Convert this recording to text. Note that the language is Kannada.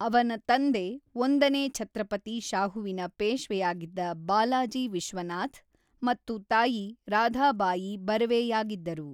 ಅವನ ತಂದೆ ಒಂದನೇ ಛತ್ರಪತಿ ಶಾಹುವಿನ ಪೇಶ್ವೆಯಾಗಿದ್ದ ಬಾಲಾಜಿ ವಿಶ್ವನಾಥ್ ಮತ್ತು ತಾಯಿ ರಾಧಾಬಾಯಿ ಬರ್ವೆಯಾಗಿದ್ದರು.